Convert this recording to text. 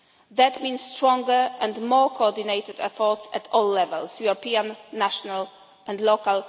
users. That means stronger and more coordinated efforts at all levels European, national and